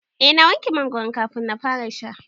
Eh na wanke mangoron kafin na fara sha.